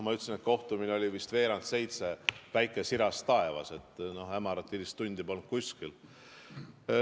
Kohtumine oli vist veerand seitse, päike siras taevas, hämarat hilistundi polnud kuskil.